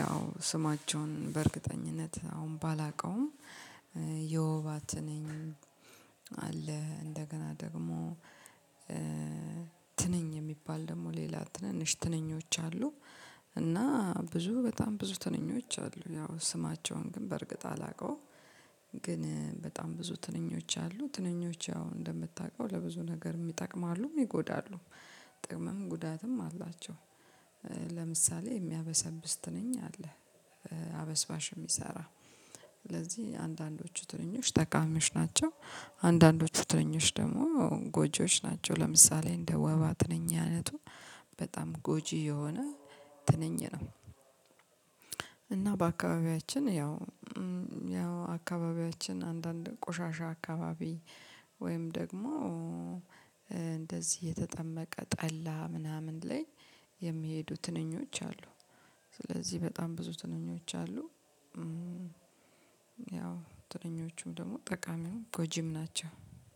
ያው ስማቸውን በእርግጠኝነት አሁን ባላቀውም የወባ ትንኝ አለ። እንደገና ደግሞ ትንኝ የሚባል ደግሞ ሌላ ትንንሽ ትንኞች አሉ። እና ብዙ በጣም ብዙ ትንኞች አሉ ያው ስማቸውን ግን በእርግጥ አላውቀውም። ግን በጣም ብዙ ትንኞች አሉ። ትንኞች አሁን እንደምታውቀው ለብዙ ነገር ሚጠቅም አሉ ይጎዳሉም ጥቅምም ጉዳትም አላቸው። ለምሳሌ የሚያበሰብስ ትንኝ አለ አበስባሽ የሚሰራ ስለዚህ አንዳንዶቹ ትንኞች ጠቃሚዎች ናቸው። አንዳንዶቹ ትንኞች ደግሞ ጎጂዎች ናቸው። ለምሳሌ እንደ ወባ ትንኝ አይነቱ በጣም ጎጂ የሆነ ትንኝ ነው፤ እና በአካባቢያችን ያው ያው አካባቢያችን አንዳንድ ቆሻሻ አካባቢ ወይም ደግሞ የተጠመቀ ጠላ ምናምን ላይ የሚሄዱ ትንኞች አሉ። ስለዚህ በጣም ብዙ ትንኞች አሉ። ያው ትንኞቹም ደግሞ ጠቃሚም ጎጂም ናቸው።